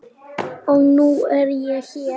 Og nú er ég hér!